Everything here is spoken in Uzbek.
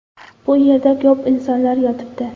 Bu yerda ko‘p insonlar yotibdi.